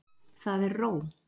Það er ró.